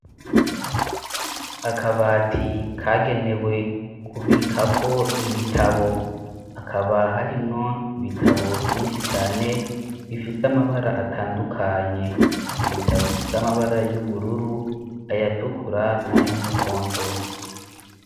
Akabati kagenewe kubikako ibitabo akaba harimwo ibitabo vyinshi cane bifise amabara atandukanye ibitabo bifise amabara y'ubururu ayatukura n'ayumuhondo.